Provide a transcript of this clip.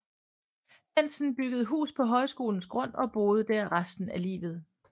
Bentsen byggede hus på højskolens grund og boede der resten af livet